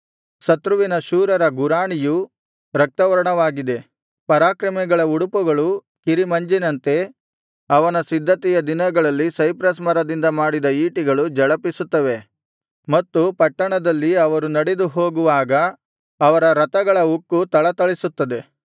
ಶತ್ರುವಿನ ಶೂರರ ಗುರಾಣಿಯು ರಕ್ತವರ್ಣವಾಗಿದೆ ಪರಾಕ್ರಮಿಗಳ ಉಡುಪುಗಳು ಕಿರಿಮಂಜಿನಂತೆ ಅವನ ಸಿದ್ಧತೆಯ ದಿನಗಳಲ್ಲಿ ಸೈಪ್ರಸ್ ಮರದದಿಂದ ಮಾಡಿದ ಈಟಿಗಳು ಝಳಪಿಸುತ್ತವೆ ಮತ್ತು ಪಟ್ಟಣದಲ್ಲಿ ಅವರು ನಡೆದು ಹೋಗುವಾಗ ಅವರ ರಥಗಳ ಉಕ್ಕು ಥಳಥಳಿಸುತ್ತದೆ